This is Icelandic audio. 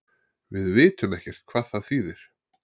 Við vitum ekkert hvað það þýðir